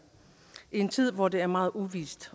i en tid hvor det er meget uvist